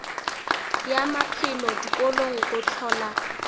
ya maphelo dikolong go hlola